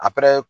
A